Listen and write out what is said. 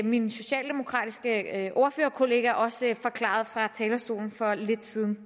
min socialdemokratiske ordførerkollega også forklarede det fra talerstolen for lidt siden